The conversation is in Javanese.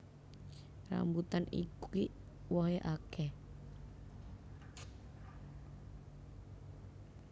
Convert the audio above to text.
Rambutan iki wohé akéh